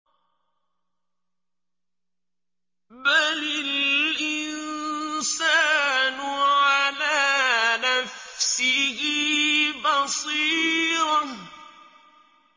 بَلِ الْإِنسَانُ عَلَىٰ نَفْسِهِ بَصِيرَةٌ